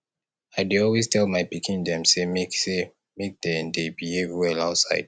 i dey always tell my pikin dem sey make sey make dey dey behave well outside